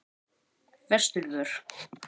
Vesturvör